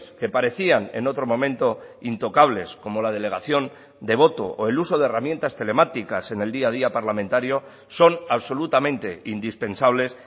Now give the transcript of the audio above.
que parecían en otro momento intocables como la delegación de voto o el uso de herramientas telemáticas en el día a día parlamentario son absolutamente indispensables